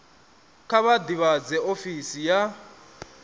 kha vha ḓivhadze ofisi ya